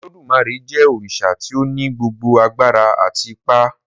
Olodumare jé òrìṣà tí o ní gbogbo àgbàrá àti ipá